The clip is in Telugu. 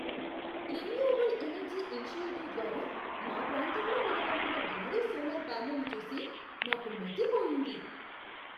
రిన్యూవబుల్ ఎనర్జీ ఇనిషియేటివ్ ద్వారా మా ప్రాంతంలో నెలకొల్పిన భారీ సోలార్ ప్యానెళ్లు చూసి నాకు మతిపోయింది.